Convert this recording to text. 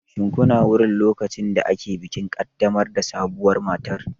Shin kuna wurin lokacin da ake bikin ƙaddamar da sabuwar matar?